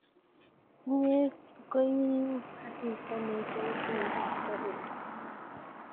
Inye ko iu asista ne iluu tuindap sobennyu.